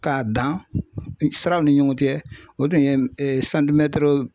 K'a dan siraw ni ɲɔgɔn cɛ o tun ye